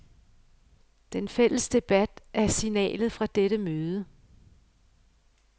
Den fælles debat er signalet fra dette møde.